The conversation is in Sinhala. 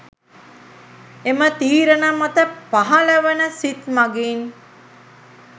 එම තීරණ මත පහළවන සිත් මගින්